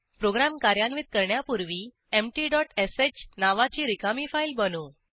program कार्यान्वित करण्यापूर्वी empty dot sh नावाची रिकामी फाईल बनवू